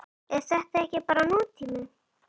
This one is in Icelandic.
Er þetta ekki bara nútíminn?